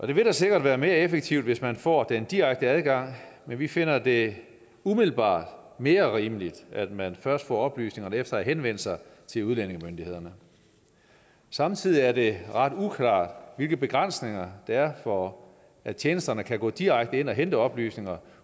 det vil da sikkert være mere effektivt hvis man får den direkte adgang men vi finder det umiddelbart mere rimeligt at man først får oplysningerne efter at have henvendt sig til udlændingemyndighederne samtidig er det ret uklart hvilke begrænsninger der er for at tjenesterne kan gå direkte ind og hente oplysninger